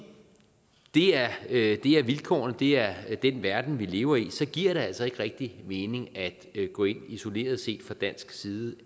det er vilkårene det er den verden vi lever i giver det altså ikke rigtig mening at gå ind isoleret set fra dansk side og